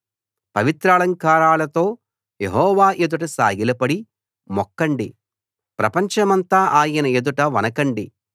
పవిత్రాలంకారాలతో Jehovah ఎదుట సాగిలపడి మొక్కండి ప్రపంచమంతా ఆయన ఎదుట వణకండి